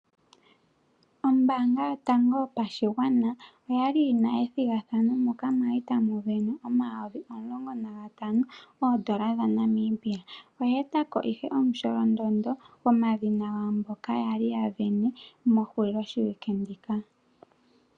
Ombanga yotango yopashigwana okwali yina ethigathano moka kwali tamuvenwa omayovi omulongo nantano moondola dhaNamibia. Oya etako ashike omusholondondo gomadhina gaamboka kwali yavene mehulilo shiwike ndika.